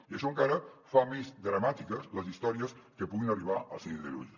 i això encara fa més dramàtiques les històries que puguin arribar al síndic de greuges